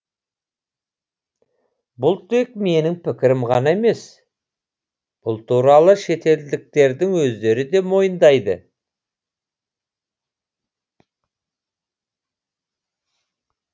бұл тек менің пікірім ғана емес бұл туралы шетелдіктердің өздері де мойындайды